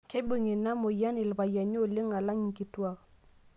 Keibung' ina moyian ilpayiani oleng' alang' nkituak.